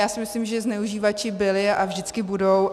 Já si myslím, že zneužívači byli a vždycky budou.